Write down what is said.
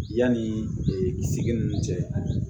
Yanni ee sigi nunnu cɛ